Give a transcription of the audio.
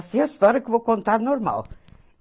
Assim a história que eu vou contar normal.